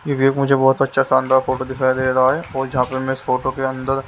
ये भी एक मुझे बहुत अच्छा शानदार फोटो दिखाई दे रहा है और जहाँ पे मैं इस फोटो के अंदर--